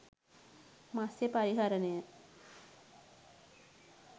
මත්ස්‍ය පරිහරණය